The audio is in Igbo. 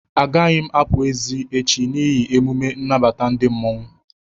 A gaghị m apụ n'èzi echi n'hi emume nnabata ndị mmanwu